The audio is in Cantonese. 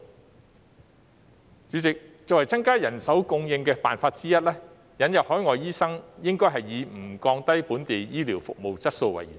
代理主席，作為增加人手供應的方法之一，引入海外醫生應以不降低本地醫療服務質素為原則。